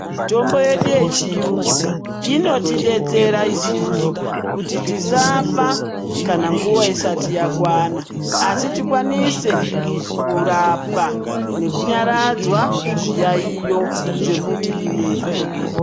Mitombo yedu yechiyungu inotidetsera isusu kuti tisafa kana nguwa isati yakwana asi tikwanise kurapwa nekunyaradzwa zviyaiyo zvemiviri yedu.